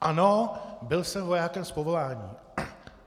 Ano, byl jsem vojákem z povolání.